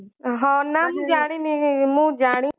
ହଁ ନା ମୁଁ ଜାଣିନି ହଁ ନା ମୁଁ ଜାଣିନି